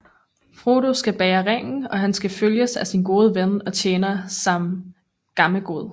Frodo skal bære ringen og han skal følges af sin gode ven og tjener Sam Gammegod